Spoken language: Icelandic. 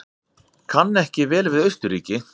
Kann ekki vel við Austurríki.